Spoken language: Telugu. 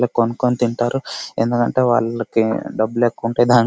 ఇలా కొనుక్కొని తింటారు. ఎందుకంటే వాళ్ళకి డబ్బులు ఎక్కువుంటాయి. దానికి --